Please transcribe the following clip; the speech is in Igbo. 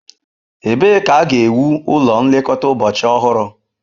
Ebee ka a ga-ewu ụlọ nlekọta ụbọchị ọhụrụ?